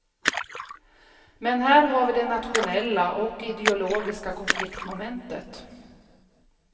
Men här har vi det nationella och ideologiska konfliktmomentet.